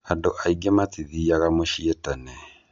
Andũ aingĩ matithiaga mũciĩ tene.